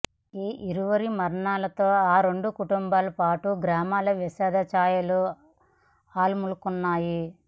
ఈ ఇరువురి మరణంతో ఆ రెండు కుటుంబాలతో పాటు గ్రామంలో విషాద ఛాయలు అలుముకున్నాయి